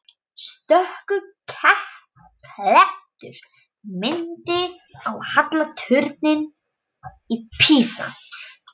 Stöku klettur minnti á halla turninn í Písa.